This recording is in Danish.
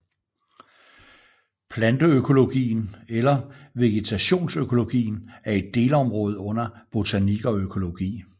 Planteøkologien eller vegetationsøkologien er et delområde under botanik og økologi